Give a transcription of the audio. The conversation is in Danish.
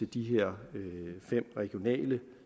de her fem regionale